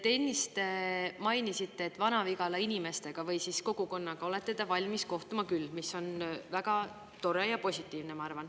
Te ennist mainisite, et Vana-Vigala inimestega või kogukonnaga olete te valmis kohtuma küll, mis on väga tore ja positiivne, ma arvan.